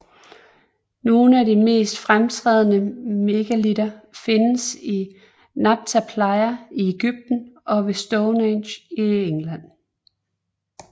Nogle af de mest fremtrædende megalitter findes i Nabta Playa i Egypten og ved Stonehenge i England